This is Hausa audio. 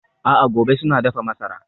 A'a gobe suna dafa masara.